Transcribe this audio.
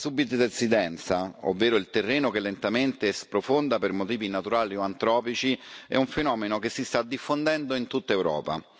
La subsidenza, ovvero il terreno che lentamente sprofonda per motivi naturali o antropici, è un fenomeno che si sta diffondendo in tutta Europa.